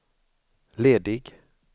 ledig